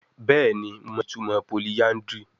Bẹẹni Mo mọ itumọ polyandry